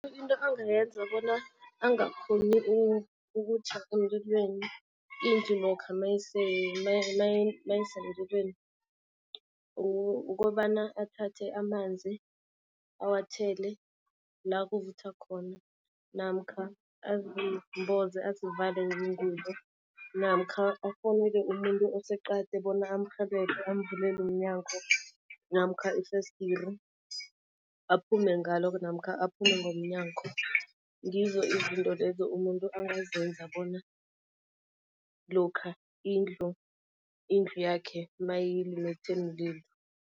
Into angayenza bona angakghoni ukutjha emlilweni, indlu lokha mayisemlilweni ukobana athathe amanzi awathele la kuvutha khona namkha azimboze azivale ngengubo. Namkha afowunele umuntu oseqadi bona amrhelebhe, amvulele umnyango namkha ifesdiri, aphume ngalo namkha aphume ngomnyango. Ngizo izinto lezo umuntu angazenza bona lokha indlu, indlu yakhe mayilumethe mlilo.